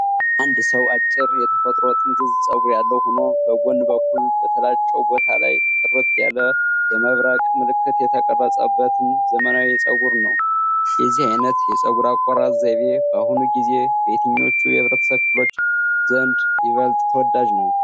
አንድ ሰው አጭር የተፈጥሮ ጥምዝ ጸጉር ያለው ሆኖ፣ በጎን በኩል በተላጨው ቦታ ላይ ጥርት ያለ የመብረቅ ምልክት የተቀረጸበትን ዘመናዊ የፀጉር ነው። የዚህ አይነት የፀጉር አቆራረጥ ዘይቤ በአሁኑ ጊዜ በየትኞቹ የህብረተሰብ ክፍሎች ዘንድ ይበልጥ ተወዳጅ ነው